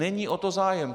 Není o to zájem.